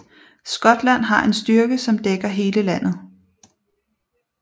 Skotland har en styrke som dækker hele landet